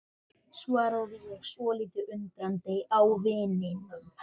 svaraði ég, svolítið undrandi á vininum.